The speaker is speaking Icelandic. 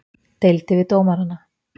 Deildi við dómarana